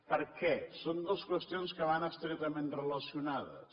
per què són dues qüestions que van estretament relacionades